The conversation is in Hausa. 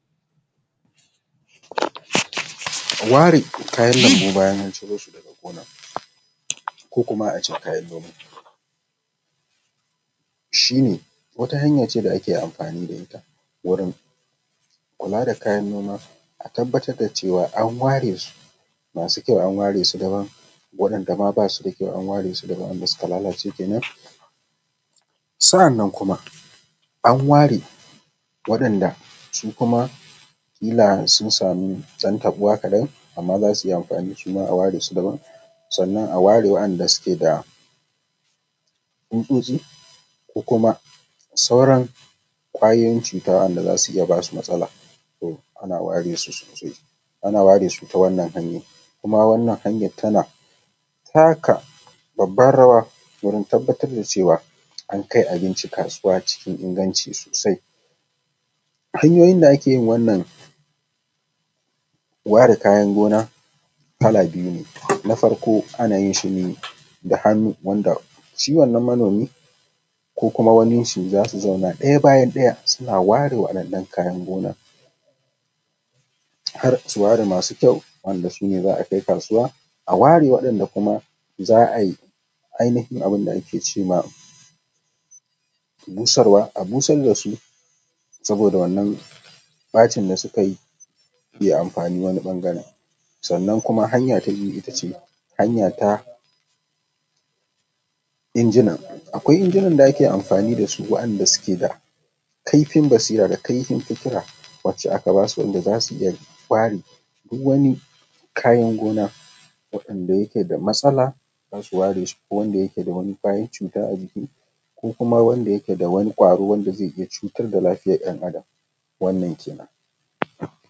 Ware kayan lambu bayan an cire shi daga gona, ko kuma a ce kayan noma shi ne wata hnaya ce da ake amfanin da ita wurin kula da kayan noma, a tabbatar da cewa an ware su masu kyau an ware su daban waɗanɗa ma basu da kyau an ware su daban waɗanɗa suka lalace kenan, sannan kuma an ware waɗanɗa su kuma kila sun samu ɗan taɓuwa da ban, amma zasu iya amfani shi ma a ware su daban, sannan an a ware waɗanɗa suke da tsutsotsi ko kuma sauran ƙwayoyin cuta waɗanɗa zasu iya basu matsala to ana ware su sosai ana ware su ta wannan hanya kuma wannan hanya tana taka babbar rawa domin tabbatar da cewa an kai abinci kasuwa cikin inganci sosai hanyoyin da ake wannan ware kayan gona kala biyu ne, na farko ana yin shi ne da hannu wanda shi wannan manomi ko kuma wani zasu zauna ɗaya bayan ɗaya suna ware waɗannan kayan gona, har su ware masu kyau wanda za a kai kasuwa a ware waɗanɗa za ai ainihin abinda ake cema busarwa a busar da su, saboda wannan bacin da suka yi zai amfani wani bangaren, sannan kuma hanya ta biyu itace hanya ta injina akwai injinan da ake amfani da su waɗanɗa suke da kaifin basira da kaifin fikira wacce aka basu wanda zasu iya bare duk wani kayan gona waɗanɗa yake da matsala zasu ware su ko wanda yake da wani kwayoyin cuta a jiki ko kuma wanda yake da wani ƙwaro da zai iya cutar da lafiyar ɗan adam wannan kenan.